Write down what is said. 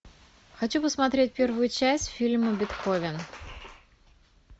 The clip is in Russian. хочу посмотреть первую часть фильма бетховен